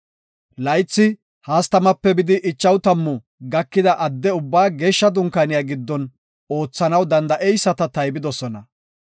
Laythi 30-50 gakida adde ubbaa Geeshsha Dunkaaniya giddon oothanaw danda7eyisata taybidosona.